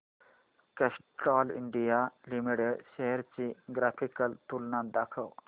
Castrol India limited shares ची graphical तुलना दाखव